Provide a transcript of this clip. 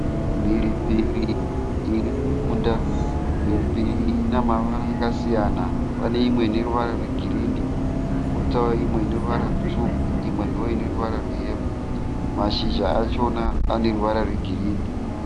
Mhiripiri irimumunda, mhiripiri iyi ine mavara akasiyana. Paneimwe ineruvara rwegirinhi, koita ineruvara rwutsvuku imwe ndoineruvara rweyero. Mashizha achona aneruvara rwegirinhi.